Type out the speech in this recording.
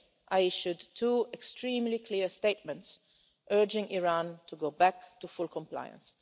UK, I issued two extremely clear statements urging Iran to go back to full compliance.